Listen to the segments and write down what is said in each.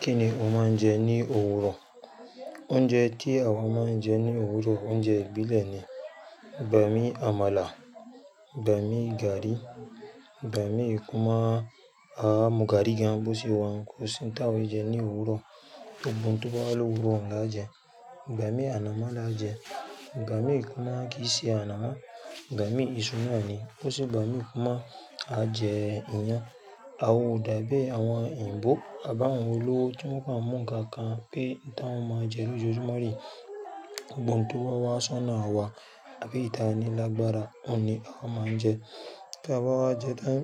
Kí ni o máa ń jẹ ní òwúrọ̀? Oúnjẹ tí àwa máa ń jẹ ní òwúrọ̀, oúnjẹ ìbílẹ̀ ni, igbàmi àmàlà, igbàmii gàrí, igbaminìkúmà. Àá mú gàrí gan bó ṣe wa ọ́un kò sì ń tà wa ó e jẹ ní òwúrọ̀. Gbogbo óun tobá wá ló òwúrọ̀ ọ̀un la jẹ. Igbàmi ànàmọ́ là jẹ, igbàmi kúmà kì í ṣe ànàmọ́. Igbàmi ìṣú náa ni. Bó ṣe igbàmi kúmà, a jẹ iyán àwa dàbí àwọn òyìnbó àbá àwọn olówó tí wọ́n kan mú nkankan pé n tí wọ́n máa jẹ lójoojúmọ́ re. Gbogbo n tó bá wá sọ́nà awá àbí eyi ta ni lágbára, òun ni a máa ń jẹ. Tí a bá wá jẹ tán,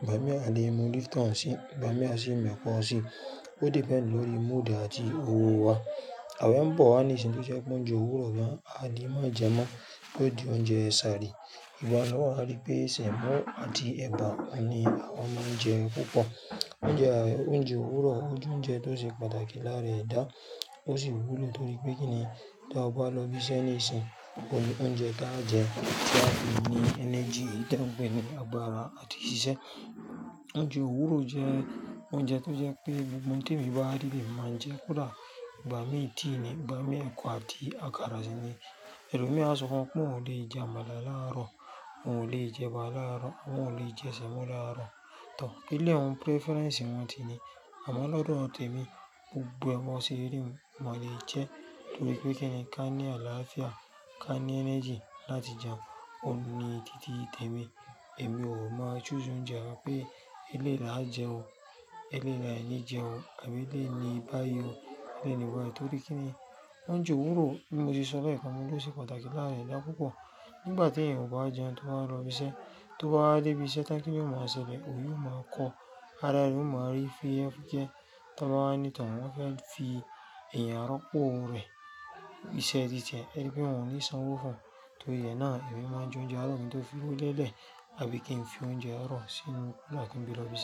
igbàmi àle mú lípton sì, igbàmi àsíì mẹ́koo sì. Ó depend lórí mood àti òwọ̀ wa. Àwe n bọ̀ wá níṣìn tó jẹ́ pé óuńjẹ òwúrọ̀ gan, aa ni máa jẹ mọ́ tió di oúnjẹ ṣáàrí. Ìwọ lo wà rií pé sẹ̀mọ́ àti ẹ̀bà ni àwa máa ń jẹ púpọ̀. Oúnjẹ àì, oúnjẹ òwúrọ̀, o jẹ oúnjẹ tó ṣe pàtàkì lára edá, ó sì wúùlù torí pé kíni ta bá lọ ibi iṣẹ́ níìsín, ko ní oúnjẹ tá a jẹ tiá fi ní energy, eyi tiá n pẹ̀ni agbára àti ìṣísẹ́. Oúnjẹ òwúrọ̀ jẹ́ oúnjẹ tó jẹ́ pé gbogbo ohun tí èmi bá rí le mi màá n je kódà igbàmi tea ni, igbàmi ẹ̀kọ àti àkàrà sì ni. Ẹ̀lomí á sọ fún ọ pé oun ò lè jẹ àmàlà láàárọ̀, oun ò lè jẹ eba láàárọ̀, oun ò lè jẹ sẹ̀mọ́ láàárọ̀. Tor elẹ̀ òun preference wọ́n ti ní. Àmọ́ lọ́dọ̀ tẹ̀mi, gbogbo ẹ́ bọ̀ se rí oun mo lè jẹ torí pé kíni ká ní àlàáfíà, ká ní energy láti jẹun. Ní títí tẹ̀mi. Èmi ò máa choose oúnjẹ nnkan pé eléè láà jẹ ó, eléèyi le ní jẹ ó àbí eléyi ni bá yii o. Beeni baayi torí kíni oúnjẹ òwúrọ̀ bí mo sọ lekan mó ló ṣe pàtàkì lára edá púpọ̀. Nígbà tí ẹ̀yan ò báa jẹun tó báà n lọ ibi iṣẹ́, tó báa dé ibi iṣẹ́ tán kí ni yió máa ṣẹlẹ̀? Oyi o máa kọ, ara rẹ ó máa rí fuyefuyẹ́ tó bá wá ní tor àwọ́n fẹ́ fi ẹ̀yàn rọ́pò rẹ iṣẹ́ títí ẹ erií pẹ̀ wọ́n ò ní sanwó fún. Torí náà, èmi máa ń jẹ oúnjẹ àárọ̀ mi tó fi inu lẹ́lẹ̀ àbí kí n fi oúnjẹ àárọ̀ sínú kulá kí n gbeẹ̀ lo ibi iṣẹ́.